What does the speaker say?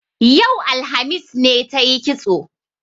Yau, alhamis, ne tayi kitso